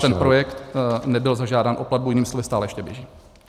A ten projekt nebyl zažádán o platbu, jinými slovy, stále ještě běží.